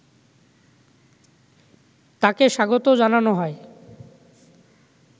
তাকে স্বাগত জানানো হয়